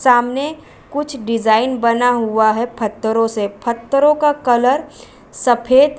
सामने कुछ डिजाईन बना हुआ हैं फत्तरों से। फत्तरों का कलर सफ़ेद --